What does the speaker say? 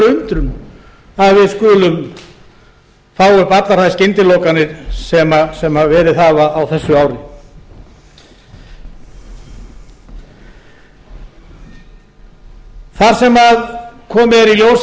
veru undrun að við skulum fá upp allar þær skyndilokanir sem verið hafa á þessu ári þar sem komið er í ljós að